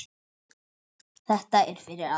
Þetta er fyrir alla.